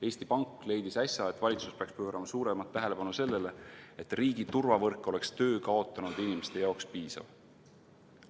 Eesti Pank leidis äsja, et valitsus peaks pöörama suuremat tähelepanu sellele, et riigi turvavõrk oleks töö kaotanud inimeste jaoks piisav.